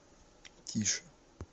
тише